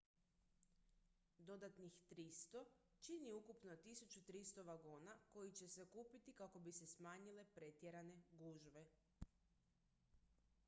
dodatnih 300 čini ukupno 1300 vagona koji će se kupiti kako bi se smanjile pretjerane gužve